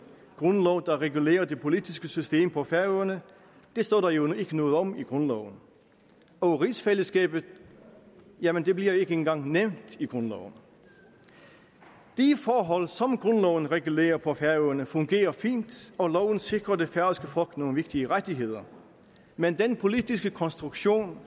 en lov der regulerer det politiske system på færøerne det står der jo ikke noget om i grundloven og rigsfællesskabet jamen det bliver ikke engang nævnt i grundloven de forhold som grundloven regulerer på færøerne fungerer fint og loven sikrer det færøske folk nogle vigtige rettigheder men den politiske konstruktion